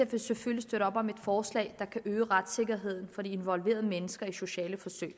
vil selvfølgelig støtte op om et forslag der kan øge retssikkerheden for de involverede mennesker i sociale forsøg